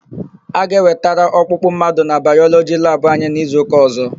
A ga-ewetara ọkpụkpụ mmadụ na Bayọlọgi labụ anyị n'izuụka ọ̀zọ́.